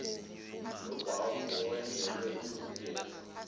nobhavu owenzelwe ukugeza